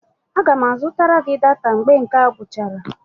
M ga-azụta gị data mgbe nke a gwụchara